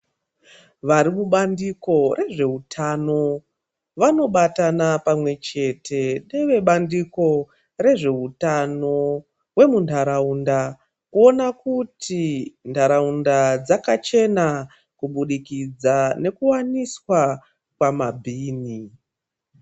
Vari kubandiko rezveutano vanobatana pamwechete nevebandiko rezveutano hwemuntaraunda kuona kuti nharaunda dzakachena kubudikidza nekuwaniswa kwamabhini.